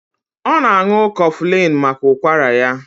Ọ na-ṅù cofulini maka ụkwara ya